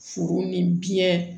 Foro ni biɲɛ